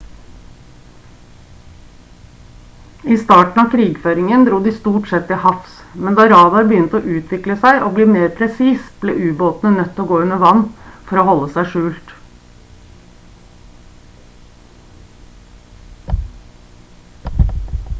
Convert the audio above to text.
i starten av krigføringen dro de stort sett til havs men da radar begynte å utvikle seg og bli mer presis ble ubåtene nødt til å gå under vann for å holde seg skjult